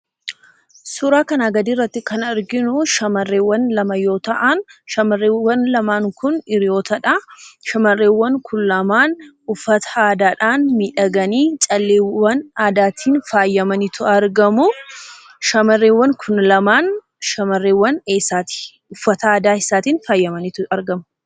Suuraa kanaa gadii irratti kan arginuu shamarreewwan lama yoo ta'aan shamarreewwan lamaan kun hiriyootadha. Shamarrewwan kun lamaan uffata aadaadhaan miidhaganii, calleewwan aadaatiin faayamaniitu argamuu. Shamarreewwan kun lamaan shamarreewwan eessaati? Uffata aadaa eessaatiin faayamaniitu argamu?